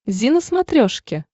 зи на смотрешке